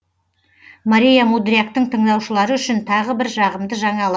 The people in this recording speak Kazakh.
мария мудряктың тыңдаушылары үшін тағы бір жағымды жаңалық